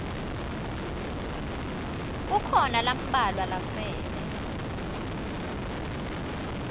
kukhona lambalwa lasele